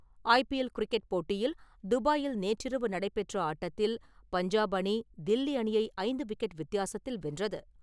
IPL cricket போட்டியில் துபாயில் நேற்றிரவு நடைபெற்ற ஆட்டத்தில் பஞ்சாப் அணி, தில்லி அணியை ஐந்து விக்கெட் வித்தியாசத்தில் வென்றது.